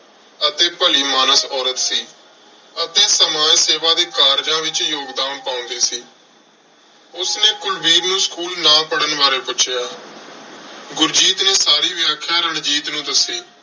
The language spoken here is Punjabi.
ਅਤੇ ਭਲੀ ਮਾਨਸ ਔਰਤ ਸੀ ਅਤੇ ਸਮਾਜ ਸੇਵਾ ਦੇ ਕਾਰਜਾਂ ਵਿੱਚ ਯੋਗਦਾਨ ਪਾਉਂਦੀ ਸੀ। ਉਸਨੇ ਕੁਲਵੀਰ ਨੂੰ school ਨਾ ਪੜਨ ਬਾਰੇ ਪੁੱਛਿਆ, ਗੁਰਜੀਤ ਨੇ ਸਾਰੀ ਵਿਆਖਿਆ ਰਣਜੀਤ ਨੂੰ ਦੱਸੀ।